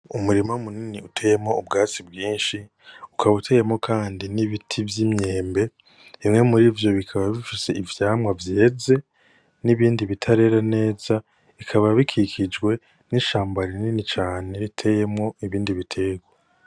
Umurima mu nini uteyeko ubwatsi bwishi ukaba uteyemwo kandi n'ibiti vy'imyembe bimwe murivyo bikaba bifise ivyamwa vyeze n'ibindi bitarera neza bikaba bikikijwe n'ishamba rinini cane riteyemwo ibindi biterwa.